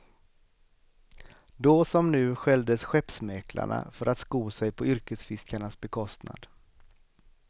Då som nu skälldes skeppsmäklarna för att sko sig på yrkesfiskarnas bekostnad.